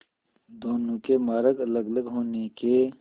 दोनों के मार्ग अलगअलग होने के